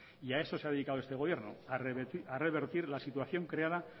a eso se ha dedicado este gobierno a revertir la situación creada